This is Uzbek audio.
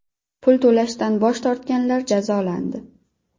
Pul to‘lashdan bosh tortganlar jazolandi.